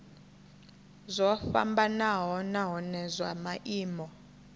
zwo fhambanaho nahone zwa maimo